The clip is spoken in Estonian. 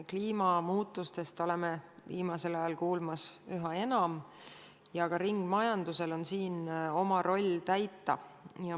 Kliimamuutustest oleme viimasel ajal kuulnud üha enam ja ka ringmajandusel on siin oma roll täita.